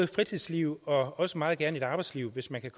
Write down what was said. fritidsliv og også meget gerne et arbejdsliv hvis man kan